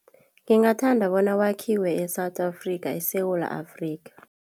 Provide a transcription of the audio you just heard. Ngingathanda bona kwakhiwe e-South Africa, eSewula Afrika.